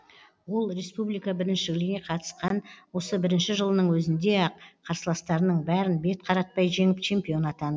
ол республика біріншілігіне қатысқан осы бірінші жылының өзінде ақ қарсыластарының бәрін бет қаратпай жеңіп чемпион атан